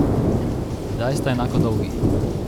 Kdaj sta enako dolgi?